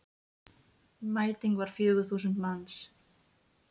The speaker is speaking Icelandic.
Mæting var fjögur þúsund manns.